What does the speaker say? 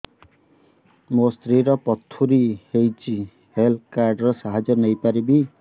ମୋ ସ୍ତ୍ରୀ ର ପଥୁରୀ ହେଇଚି ହେଲ୍ଥ କାର୍ଡ ର ସାହାଯ୍ୟ ପାଇପାରିବି